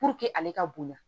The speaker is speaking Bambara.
ale ka bonya